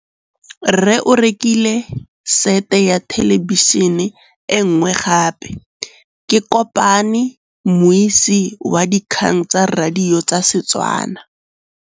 Rre o rekile sete ya thêlêbišênê e nngwe gape. Ke kopane mmuisi w dikgang tsa radio tsa Setswana.